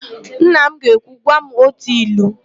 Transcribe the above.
Nna m ga-ekwu, "gwa m ótù ilu"!